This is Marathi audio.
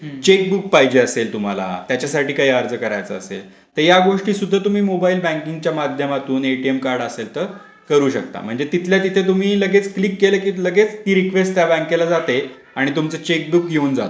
चेकबुक पाहिजे असेल तुम्हाला त्यासाठी काही अर्ज करायचा असेल त यागोष्टी सुद्धा तुम्ही मोबाईल बँकिंगच्या माध्यमातून एटीएम कार्ड असेल तर करू शकता म्हणजे तिथल्या तिथे तुम्ही क्लिक केलं की लगेच रिक्वेस्ट बँकेला जाते आणि तुमचा चेकबुक येऊन जात